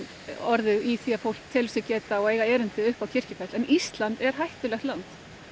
orðið í því að fólk telur sig geta og eiga erindi upp á Kirkjufell en Ísland er hættulegt land